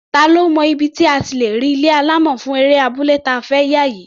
Ta ló mọ ibi tí a ti lè rí ilé alámọ̀ fún eré abúlé ta fẹ́ yà yìí?